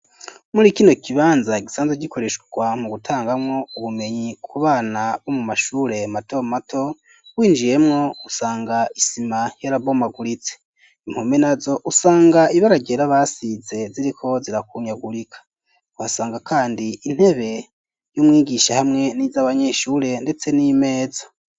Muri kino kibanza gisanzwe gikoreshwa mu gutangamwo ubumenyi ku bana bo mu mashure mato mato winjiyemwo usanga isima yarabomaguritse impome nazo usanga ibara ryera basize ziriko zirakunyagurika asanga kandi intebe y'umwigisha hamwe n'iz'abanyeshure ndetse n'imeza.